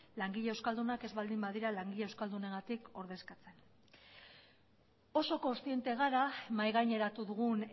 langile euskaldunak ez baldin badira langile euskaldunengatik ordezkatzen oso kontziente gara mahaigaineratu dugun